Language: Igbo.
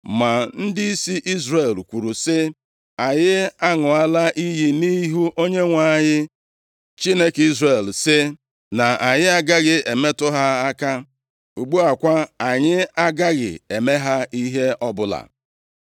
Ma ndịisi Izrel kwuru sị, “Anyị aṅụọla iyi nʼihu Onyenwe anyị, Chineke Izrel sị, na anyị agaghị emetụ ha aka, ugbu a kwa anyị agaghị eme ha ihe ọbụla.